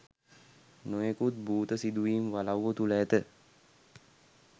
නොයෙකුත් භූත සිදුවීම් වලව්ව තුළ ඇත